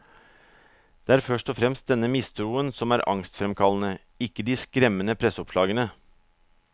Det er først og fremst denne mistroen som er angstfremkallende, ikke de skremmende presseoppslagene.